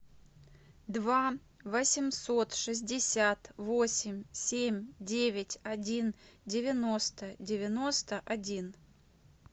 два восемьсот шестьдесят восемь семь девять один девяносто девяносто один